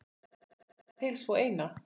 Og hingað til sú eina.